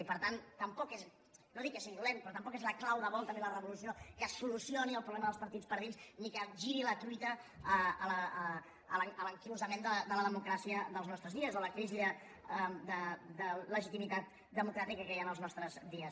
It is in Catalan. i per tant no dic que sigui dolent però tampoc és la clau de volta ni la revolució que solucioni el problema dels partits per dins ni capgiri la truita a l’anquilosament de la democràcia dels nostres dies o a la crisi de legitimitat democràtica que hi ha en els nostres dies